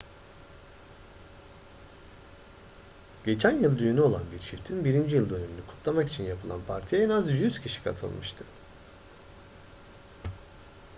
geçen yıl düğünü olan bir çiftin birinci yıl dönümünü kutlamak için yapılan partiye en az 100 kişi katılmıştı